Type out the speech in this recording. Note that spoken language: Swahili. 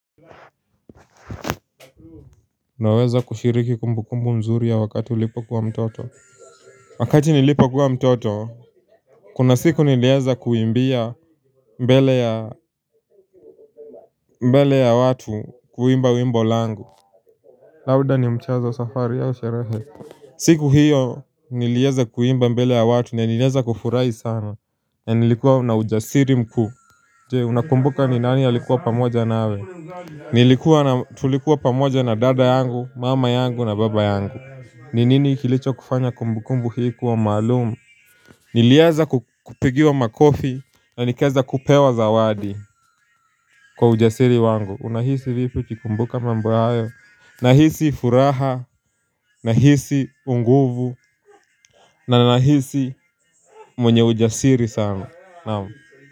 Naweza kushiriki kumbukumbu mzuri ya wakati ulipo kuwa mtoto. Wakati nilipokuwa mtoto, kuna siku nilieza kuimbia mbele ya watu kuimba wimbo langu. Lauda ni mchezo safari yao sherehe siku hiyo nilieza kuimba mbele ya watu nilieza kufurahi sana, na nilikuwa na ujasiri mkuu. Je, unakumbuka ni nani alikuwa pamoja nawe? Nilikuwa na tulikuwa pamoja na dada yangu mama yangu na baba yangu. Ninini kilicho kufanya kumbukumbu hii kuwa maalumu? Nilieza kupigiwa makofi na nikaeza kupewa zawadi kwa ujasiri wangu. Unahisi vipi ukikumbuka mambo hayo? Nahisi furaha, nahisi unguvu. Na nahisi mwenye ujasiri sana, naam.